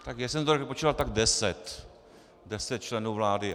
Tak jak jsem to počítal, tak deset, deset členů vlády.